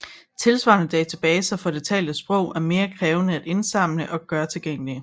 Tilsvarende databaser for det talte sprog er mere krævende at indsamle og gøre tilgængelige